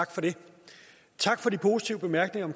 og tak for de positive bemærkninger